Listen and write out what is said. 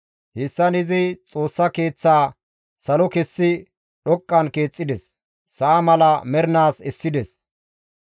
Hessan izi Xoossa Keeththaa salo kessi dhoqqan keexxides; sa7a mala mernaas essides.